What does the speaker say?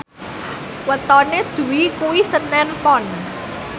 wetone Dwi kuwi senen Pon